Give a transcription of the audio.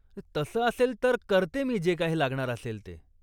तसं असेल तर करते मी जे काही लागणार असेल ते.